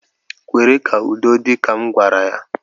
Kwere ka udo dị, ka m gwara ya